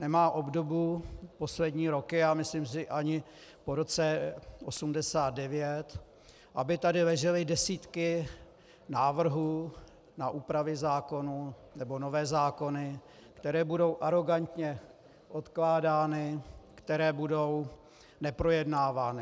Nemá obdobu poslední roky a myslím si ani po roce 1989, aby tady ležely desítky návrhů na úpravy zákonů nebo nové zákony, které budou arogantně odkládány, které budou neprojednávány.